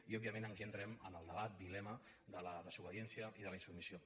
i òbviament aquí entrem en el debat dilema de la desobediència i de la insubmissió